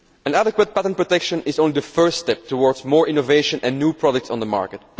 Adequate patent protection is only the first step towards more innovation and new products on the market.